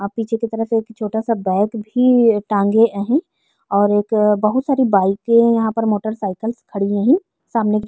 अ पीछे की तरफ से छोटा सा बैग भी टागे हैं और एक बहुत सारी बाइके मोटर साइकिल खड़ी हुई है सामने --